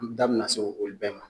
N da bi na se olu bɛɛ ma